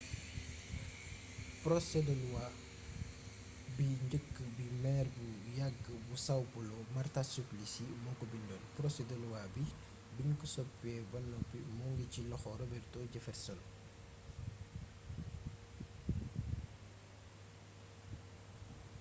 porosé de luwa bi njëkk bi meer bu yàgg bu são paulo marta suplicy moo ko bindoon porosé de luwa bi biñ ko soppiwee ba noppi moo ngi ci loxol robeto jefferson